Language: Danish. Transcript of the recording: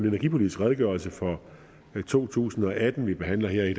energipolitisk redegørelse for to tusind og atten vi behandler her i